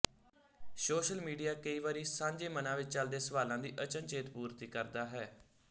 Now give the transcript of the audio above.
social media ਕਈ ਵਾਰੀ ਸਾਂਝੇ ਮਨਾਂ ਵਿੱਚ ਚੱਲਦੇ ਸਵਾਲਾਂ ਦੀ ਅਚਨਚੇਤ ਪੂਰਤੀ ਕਰਦਾ ਹੈ